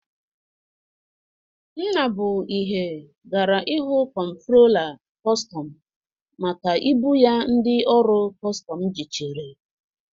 Nnabụihe gara ịhụ kọmptrola kostọm maka ibụ ya ndị ọrụ kọstọm jichiri